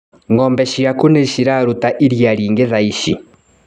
Ngombe ciaku nĩciraruta iria rĩingĩ thaici.